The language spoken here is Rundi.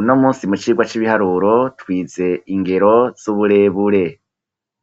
uno munsi mu cirwa cy'ibiharuro twize ingero z'uburebure